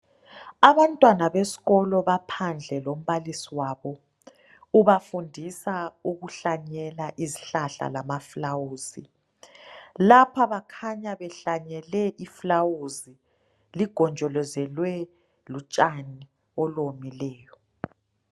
Abantwana besikolo baphandle lombalisi wabo ubafundisa ukuhlanyela izihlahla lamaluba lapha bakhanya behlanyele iluba logonjolozelwe butshani obuwomileyo.